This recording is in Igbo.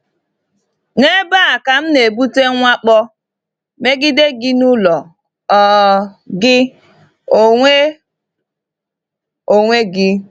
“N’ebe a ka m na-ebute mwakpo megide gị n’ụlọ um gị onwe onwe gị.”